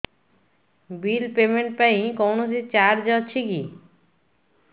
bill payment ପାଇଁ କୌଣସି charge ଅଛି କି